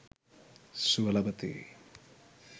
සුව ලබති.